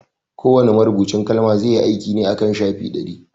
Kowa ne marubucin kalma zai yi aiki ne akan shafi ɗari